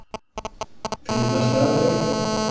Fyndnasta atvik?